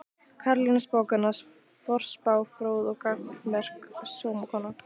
Karolína spákona, forspá fróð og gagnmerk sómakona.